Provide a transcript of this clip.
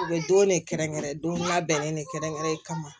U bɛ don ne kɛrɛnkɛrɛn don labɛnnen ne kɛrɛnkɛrɛnnen kama